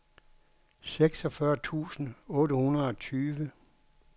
seksogfyrre tusind otte hundrede og tyve